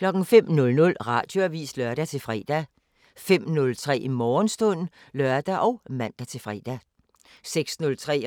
05:00: Radioavisen (lør-fre) 05:03: Morgenstund (lør og man-fre) 06:03: